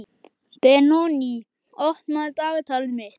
Benoný, opnaðu dagatalið mitt.